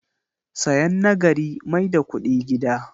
Sayan na gari mai da kudi gida.